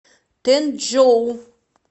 тэнчжоу